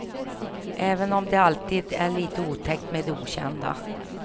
Även om det alltid är lite otäckt med det okända.